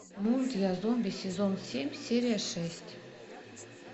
мульт я зомби сезон семь серия шесть